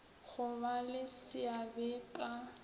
go ba le seabe ka